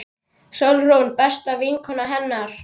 Sigrún besta vinkona hennar.